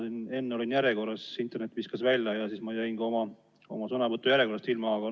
Ma enne olin järjekorras, aga internet viskas mu välja ja siis ma jäin sõnavõtujärjekorras oma kohast ilma.